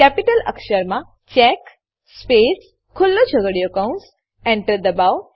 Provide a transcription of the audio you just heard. capital અક્ષરમાં check space ખુલ્લો છગડીયો કૌંસ Enter દબાવો